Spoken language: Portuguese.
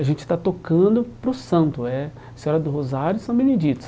A gente está tocando para os santo eh, a Senhora do Rosário e São Benedito.